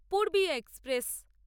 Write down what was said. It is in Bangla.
পূর্বীয়া এক্সপ্রেস